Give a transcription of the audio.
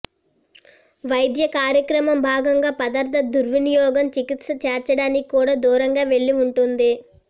వైద్య కార్యక్రమం భాగంగా పదార్థ దుర్వినియోగం చికిత్స చేర్చడానికి కూడా దూరంగా వెళ్ళి ఉంటుంది